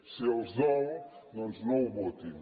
si els dol doncs no ho votin